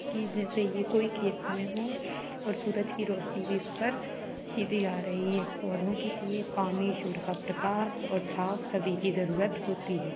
जैसा की कोई खेत में है और सूरज की रोशनी भी इस पर सीधी आ रही है पौधों के लिए पानी सूरज का प्रकाश और छाँव सभी की जरूरत होती है।